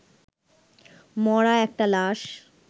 মরা একটা লাশ